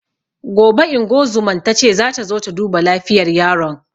Gobe ingozuman tace zata zo ta duba lafiyar yaron